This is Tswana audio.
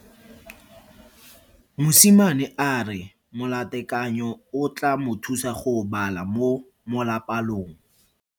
Mosimane a re molatekanyo o tla mo thusa go bala mo molapalong.